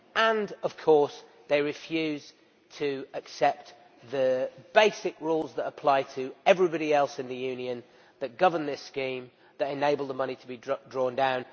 And, of course, they refuse to accept the basic rules that apply to everybody else in the Union, that govern this scheme, to enable the money to be drawn down.